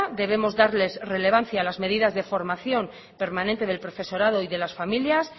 debemos darle relevancia a las medidas de formación permanente del profesorado y de las familias